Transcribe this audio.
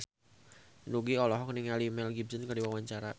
Nugie olohok ningali Mel Gibson keur diwawancara